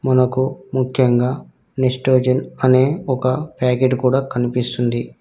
మనకు ముఖ్యంగా నెస్టోజన్ అనే ఒక ప్యాకెట్ కూడా కనిపిస్తుంది.